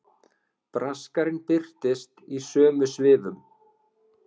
Braskarinn birtist í sömu svifum.